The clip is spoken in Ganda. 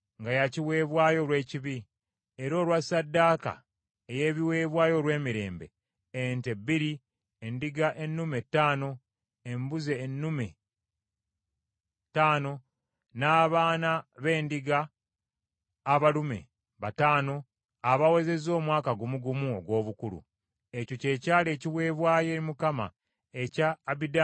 era olwa ssaddaaka ey’ebiweebwayo olw’emirembe: ente bbiri, endiga ennume ttaano, embuzi ennume ttaano, n’abaana b’endiga abalume bataano abawezezza omwaka gumu gumu ogw’obukulu. Ekyo kye kyali ekiweebwayo eri Mukama ekya Abidaani mutabani wa Gidyoni.